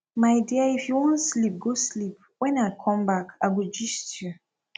my dear if you wan sleep go sleep wen i come back i go gist you